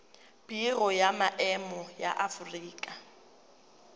biro ya maemo ya aforika